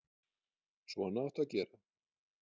Svona áttu að gera.